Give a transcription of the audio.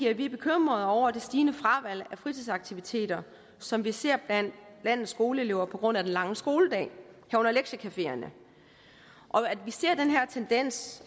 at vi er bekymrede over det stigende fravalg af fritidsaktiviteter som vi ser blandt landets skoleelever på grund af den lange skoledag herunder lektiecafeerne at vi ser den her tendens